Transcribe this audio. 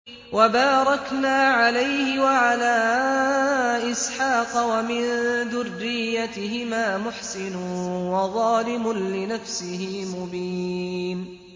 وَبَارَكْنَا عَلَيْهِ وَعَلَىٰ إِسْحَاقَ ۚ وَمِن ذُرِّيَّتِهِمَا مُحْسِنٌ وَظَالِمٌ لِّنَفْسِهِ مُبِينٌ